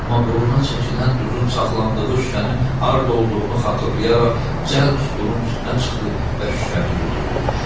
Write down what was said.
Amma burna çəkilən duzun saxlandığı şüşənin harda olduğunu xatırlayaraq cəld stulun üstünə çıxdı və şüşəni götürdü.